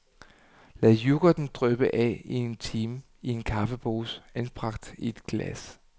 Lad yoghurten dryppe af i en time i en kaffepose anbragt i et glas.